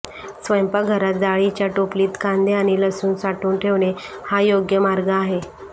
स्वयंपाकघरात जाळीच्या टोपलीत कांदे आणि लसूण साठवून ठेवणे हा योग्य मार्ग आहे